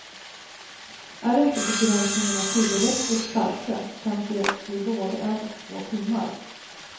Är inte begränsningarna tillräckligt starka kan det bli både en och två timmar.